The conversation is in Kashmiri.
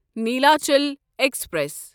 نیلاچل ایکسپریس